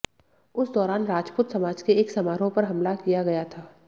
उस दौरान राजपूत समाज के एक समारोह पर हमला किया गया था